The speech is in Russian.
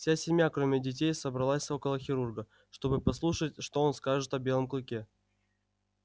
вся семья кроме детей собралась около хирурга чтобы послушать что он скажет о белом клыке